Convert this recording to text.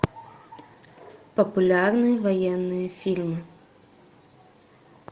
популярные военные фильмы